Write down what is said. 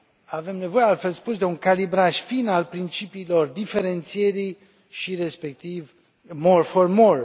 Avem nevoie, altfel spus, de un calibraj fin al principiilor diferențierii și, respectiv, more for more